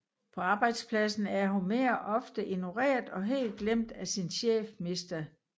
På arbejdspladsen er Homer ofte ignoreret og helt glemt af sin chef Mr